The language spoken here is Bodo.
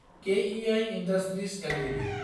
KEI industries Ltd